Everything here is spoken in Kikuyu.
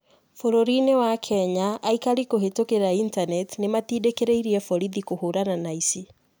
Bũrũri-inĩ wa Kenya aikari kũhĩtũkĩra initaneti ni matindikiririe borithi kũhũrana na aici.